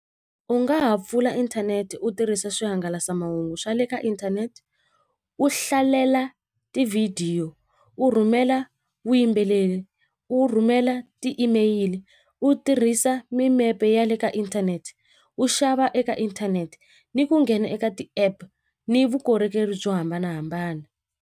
U nga ha pfula inthanete u tirhisa swihangalasamahungu swa le ka inthanete u hlalela tivhidiyo u rhumela vuyimbeleri u rhumela ti-email u tirhisa mimepe ya le ka inthanete u xava eka inthanete ni ku nghena eka ti-app ni vukorhokeri byo hambanahambana.